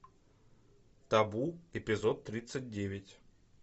табу эпизод тридцать девять